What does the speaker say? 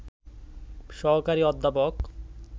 সহকারী অধ্যাপক